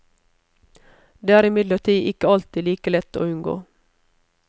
Det er imidlertid ikke alltid like lett å unngå.